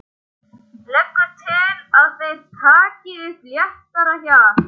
Leggur til að þeir taki upp léttara hjal.